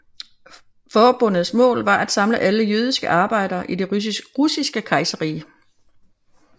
Forbundets mål var at samle alle jødiske arbejdere i det Russiske Kejserrige